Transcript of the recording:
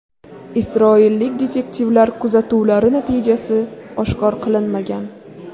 Isroillik detektivlar kuzatuvlari natijasi oshkor qilinmagan.